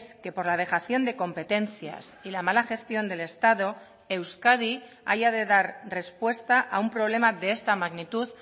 que por la dejación de competencias y la mala gestión del estado euskadi haya de dar respuesta a un problema de esta magnitud